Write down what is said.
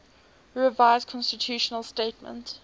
revised constitutional settlement